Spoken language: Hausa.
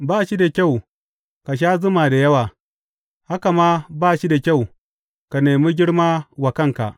Ba shi da kyau ka sha zuma da yawa, haka ma ba shi da kyau ka nemi girma wa kanka.